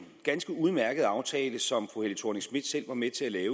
ganske udmærkede aftale som fru helle thorning schmidt selv var med til at